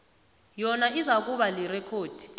yona izakuba lirekhodi